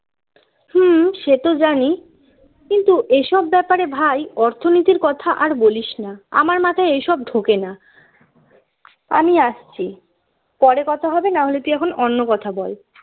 হম সে তো জানি কিন্তু এসব ব্যাপারে ভাই অর্থনীতির কথা আর বলিস না আমার মাথায় এ সব ঢোকে না আমি আসছি পরে কথা হবে না হলে তুই এখন অন্য কথা বল